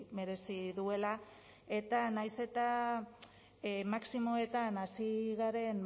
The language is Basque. merezi duela eta nahiz eta maximoetan hasi garen